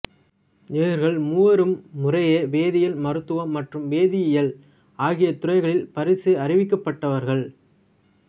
இவர்கள் மூவரும் முறையே வேதியியல் மருத்துவம் மற்றும் வேதியியல் ஆகிய துறைகளில் பரிசு அறிவிக்கிப்பட்டவர்கள்